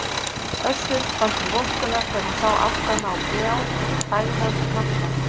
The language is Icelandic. Össur fann til vorkunnar þegar hann sá aftan á gljáfægðan hnakkann.